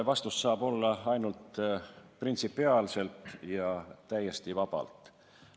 Vastus saab olla ainult, et printsipiaalselt ja täiesti vabalt.